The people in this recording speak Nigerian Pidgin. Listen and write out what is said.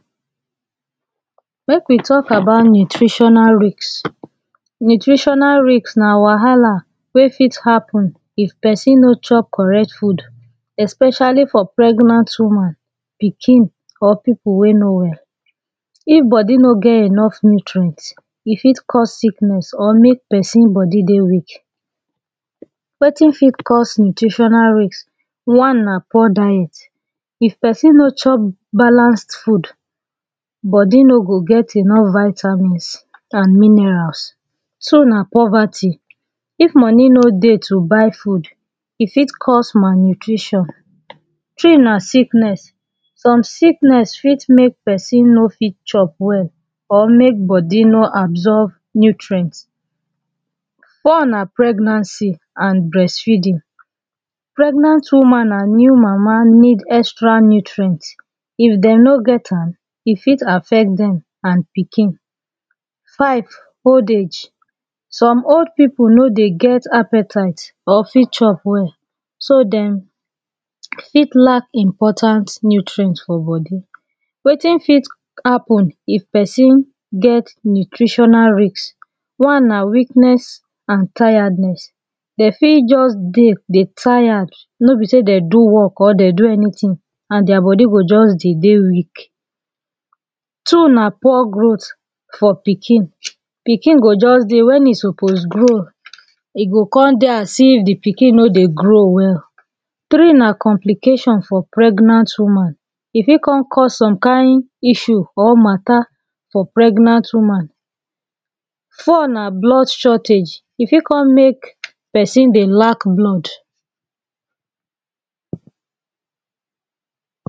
make we talk about nutritinal risk nutritional risk nah wahala weh fit happen if person no chop correct food especially for pregnant woman pikin or people wey no well if body no get enough nutrient e fit cause sickness or make person body dey weak wetin fit cause nutritional risk one nah poor diet if person no chop balanced food body no go get enough vitamins and minerals two nah poverty if money no deh to buy food e fit cause malnutrition three nah sickness some sickness fit make person no fit chop well or make body no absorb nutrient four nah pregnancy and breast feeding pregnant woman and new mama needs extra nutrient if them no get am e fit affect them and pikin five old age some old people no deh get appetite or fit chop well so them fit lack important nutrient for body wetin fit happen if person get nutritional risk one nah weakness and tiredness they fit just dey deh tired no be say they do work or they do anything and their body go just the deh weak two nah poor growth for pikin pikin go just deh when e suppose grow e go come deh as if the pikin no deh grow well three nah complication for pregnant woman e fit come cause some kind issue or matter for pregnant woman four nah blood shortage e fit come make person dey lack blood